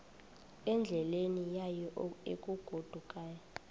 endleleni yayo egodukayo